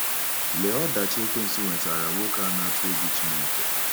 Lee ọdachi ekwensu wetaara nwoke a na-atụ egwu Chineke!